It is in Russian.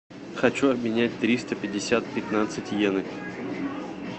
хочу обменять триста пятьдесят пятнадцать йены